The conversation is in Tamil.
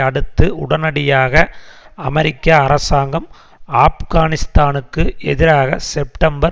அடுத்து உடனடியாக அமெரிக்க அரசாங்கம் ஆப்கானிஸ்தானுக்கு எதிராக செப்டம்பர்